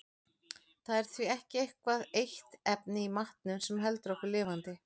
Það er því ekki eitthvað eitt efni í matnum sem heldur okkur lifandi.